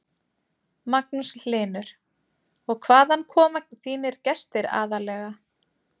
Magnús Hlynur: Og hvaðan koma þínir gestir aðallega?